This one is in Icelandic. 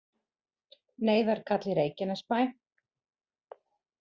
Neyðarkall í Reykjanesbæ